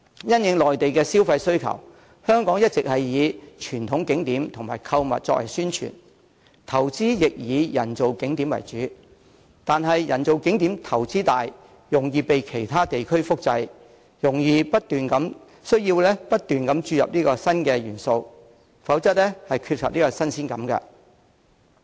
因應內地旅客的消費需求，香港一直以傳統景點及購物作為宣傳，所作投資亦以人造景點為主，但人造景點投資大、容易被其他地區複製，需要不斷注入新元素，否則會缺乏新鮮感。